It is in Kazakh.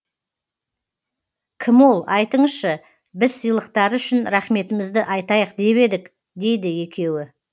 кім ол айтыңызшы біз сыйлықтары үшін рахметімізді айтайық деп едік дейді екеуі